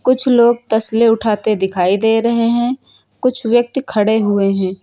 कुछ लोग तसले उठाते दिखाई दे रहे हैं कुछ व्यक्ति खड़े हुए हैं।